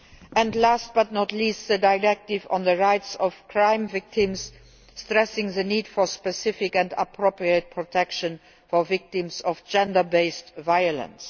and, last but not least, the Directive on the rights of crime victims, stressing the need for specific and appropriate protection for victims of gender based violence.